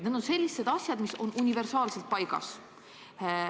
Need on sellised asjad, mis on universaalselt paigas.